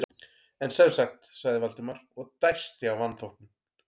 En sem sagt- sagði Valdimar og dæsti af vanþóknun.